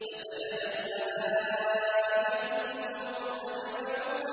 فَسَجَدَ الْمَلَائِكَةُ كُلُّهُمْ أَجْمَعُونَ